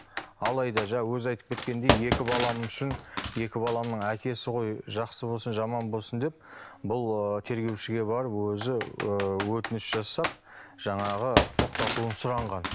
алайда жаңа өзі айтып кеткендей екі балам үшін екі баламның әкесі ғой жақсы болсын жаман болсын деп бұл ы тергеушіге барып өзі ы өтініш жасап жаңағы тоқтатуын сұранған